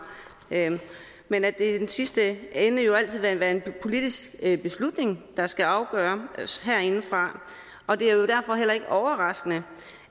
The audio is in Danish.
men at det sidste ende jo altid vil være en politisk beslutning der skal afgøres herindefra og det er jo derfor heller ikke overraskende